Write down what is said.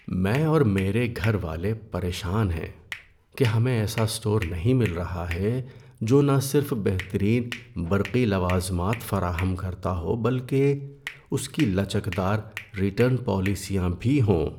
میں اور میرے گھر والے پریشان ہیں کہ ہمیں ایسا اسٹور نہیں مل رہا ہے جو نہ صرف بہترین برقی لوازمات فراہم کرتا ہو بلکہ اس کی لچکدار ریٹرن پالیسیاں بھی ہوں۔